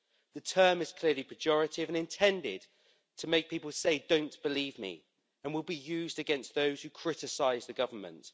The term is clearly pejorative and intended to make people say, don't believe me', and will be used against those who criticise the government.